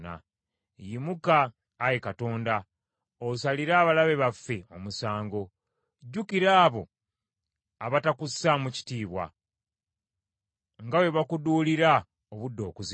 Yimuka, Ayi Katonda, osalire abalabe baffe omusango. Jjukira abo abatakussaamu kitiibwa, nga bwe bakuduulira obudde okuziba.